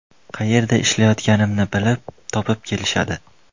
Qayerda ishlayotganimni bilib, topib kelishadi.